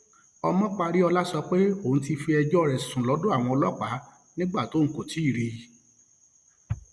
ọmọparíọlá sọ pé òun ti fi ẹjọ rẹ sùn lọdọ àwọn ọlọpàá nígbà tóun kò ti rí i